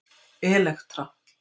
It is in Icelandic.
Elektra